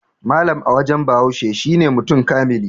Mallam a wajen Bahaushe shine mutum kamili